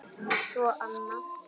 Svo annað.